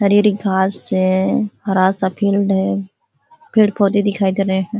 हरी-हरी घास है। हरा सा फील्ड है। पेड़-पौधे दिखाई दे रहे हैं ।